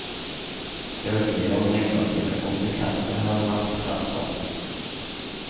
Teorier om negative konsekvenser har vært fremsatt.